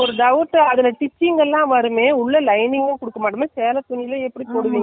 தையல் வர இடத்துல எல்லாம் கண்டிப்பா மடிச்சு தச்சாகனும் இல்லை overlap கொடுத்தாகணும். இல்லையா?